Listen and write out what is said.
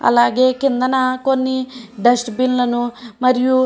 అలాగే కింద కొన్ని డస్ట్ బిన్ల ను మరియు --